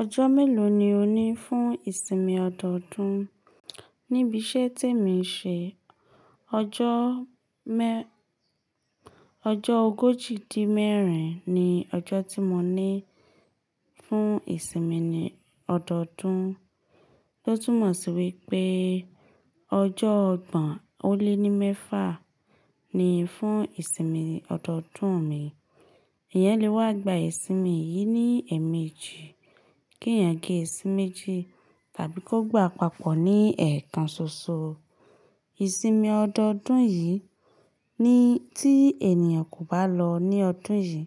Ọjọ́ mélòó ni o ní fún ìsinmi ọdọọdún? Níbi iṣẹ́ témi ń ṣe, ọjọ́ mẹ́, ọjọ́ ogójì dín mẹ́rin ni ọjọ́ tí mo ní fún ìsinmi lọdọọdún. Ó túmọ̀ sí wípé ọjọ́ ọgbọ̀n ó lé ní mẹ́fà ni fún ìsinmi lọdọọdún mi. Èyán lẹ wá gba ìsinmi yìí ní ẹ̀ẹ̀mejì, kí ẹ̀yàn gé sí méjì tàbí kó gbà papọ̀ ní ẹ̀ẹ̀kan ṣoṣo. Ìsinmi ọdọọdún yìí ni tí ènìyàn kò bá lọ ní ọdún yìí,